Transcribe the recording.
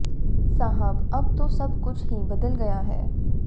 साहब अब तो सब कुछ ही बदल गया है